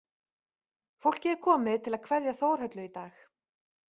Fólkið er komið til að kveðja Þórhöllu í dag